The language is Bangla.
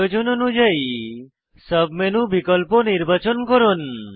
প্রয়োজন অনুযায়ী সাব মেনু বিকল্প নির্বাচন করুন